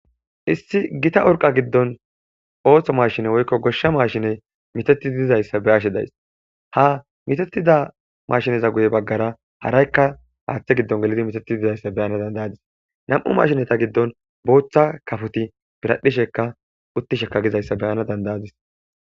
Issi gita orqa giddon ooththo mashine woykko goshsha maashiney mitati dizayssa be ashe days ha mitatida mashineza guye baggara haraykka haaththe giddon gelidi mitati dizayssa beyana dandayadis nam'u mashneta giddon booththa kafuti biradhishekka uttisheka gizayssa beyana dandayadis.